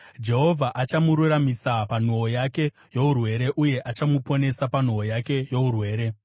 Jehovha achamuraramisa panhoo yake yourwere uye achamuponesa panhoo yake yourwere.